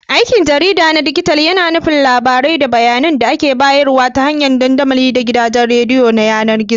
Aikin jarida na dijital yAna nufin labarai da bayAnan da ake bayarwa ta hanyar dandamali da gidajen yAnar gizo